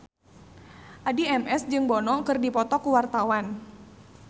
Addie MS jeung Bono keur dipoto ku wartawan